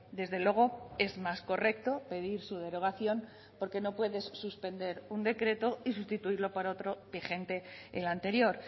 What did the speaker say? desde luego es más correcto pedir su derogación porque no puedes suspender un decreto y sustituirlo por otro vigente en la anterior